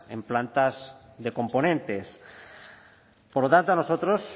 en plantas de componentes por lo tanto a nosotros